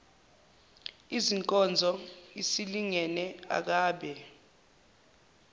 inkonzo isingenile akabe